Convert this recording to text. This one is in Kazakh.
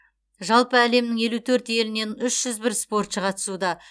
жалпы әлемнің елу төрт елінен үш жүз бір спортшы қатысуда